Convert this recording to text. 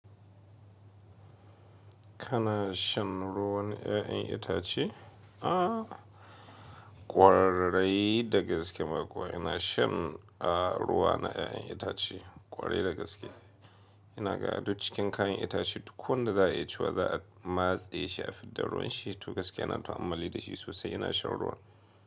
Kana shan ruwan 'ya'yan itace? Ah ƙwarai dagaske ma kuwa ina shan a ruwa na 'ya'yan itace, ƙwarai dagaske. Ina ganin duk cikin kayan itace duk wanda za a yi ciwa za a matse shi, a fidda ruwan shi. To gaskiya ina ta ammali da shi sosai ina shan ruwan.